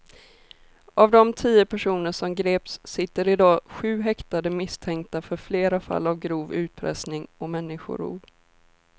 Av de tio personer som greps sitter i dag sju häktade misstänkta för flera fall av grov utpressning och människorov.